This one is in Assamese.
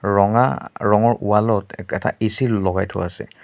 ৰঙা ৰঙৰ ৱাল ত একেটা এ_চি লগাই থোৱা আছে।